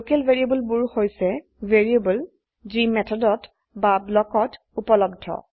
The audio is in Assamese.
লোকেল ভ্যাৰিয়েবল বোৰ হৈছে ভ্যাৰিয়েবল যি মেথডত বা ব্লকত উপলব্ধ